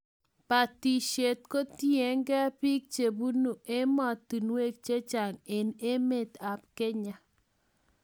Batishet kotiegei bik chebunu ematinwek che cahng eng' emet ab Kenya